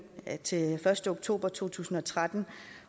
indtil den første oktober to tusind og tretten